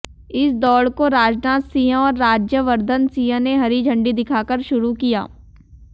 इस दौड़ को राजनाथ सिंह और राज्यवर्धन सिंह ने हरी झंडी दिखाकर शुरू किया